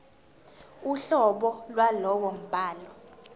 uhlobo lwalowo mbhalo